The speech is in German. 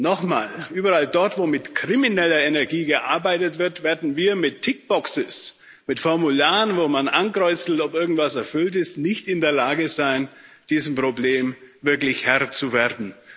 Noch mal Überall dort, wo mit krimineller Energie gearbeitet wird, werden wir mit tick boxes mit Formularen, wo man ankreuzt, ob irgendwas erfüllt ist nicht in der Lage sein, diesem Problem wirklich Herr zu werden.